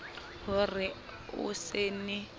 ho re o se ne